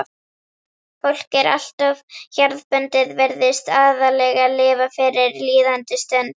fólk er alltof jarðbundið, virðist aðallega lifa fyrir líðandi stund.